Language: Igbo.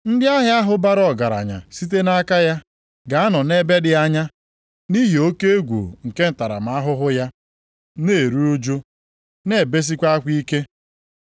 Ndị ahịa ahụ bara ọgaranya site nʼaka ya, ga-anọ nʼebe dị anya, nʼihi oke egwu nke ntaramahụhụ ya, na-eru ụjụ, na-ebesikwa akwa ike.